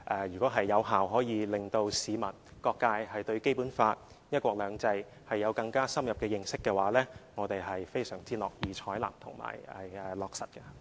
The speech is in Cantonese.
如果可以有效地令市民和各界對《基本法》及"一國兩制"有更深入認識，我們是非常樂意採納和落實的。